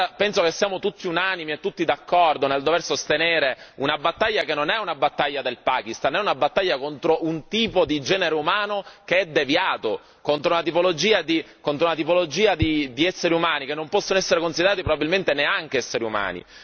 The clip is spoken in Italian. Penso che siamo tutti unanimi, tutti d'accordo, nel dover sostenere una battaglia che non è una battaglia del Pakistan, ma è una battaglia contro un tipo di genere umano che è deviato, contro una tipologia di esseri umani che non possono essere considerati probabilmente neanche esseri umani.